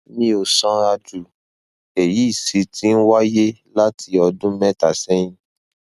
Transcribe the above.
mi ò sanra jù èyí sì ti ń wáyé láti ọdún mẹta sẹyìn